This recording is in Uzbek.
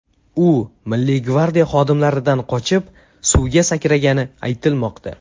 U Milliy gvardiya xodimlaridan qochib, suvga sakragani aytilmoqda.